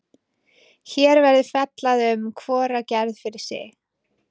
Hér verður fjallað um hvora gerð fyrir sig.